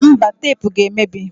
Mba, tepu ga emebi